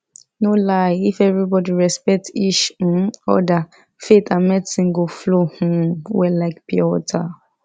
no lie if everybody respect each um other faith and medicine go flow um well like pure water